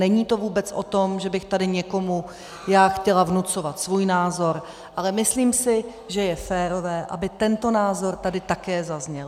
Není to vůbec o tom, že bych tady někomu já chtěla vnucovat svůj názor, ale myslím si, že je férové, aby tento názor tady také zazněl.